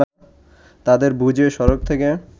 তাদের বুঝিয়ে সড়ক থেকে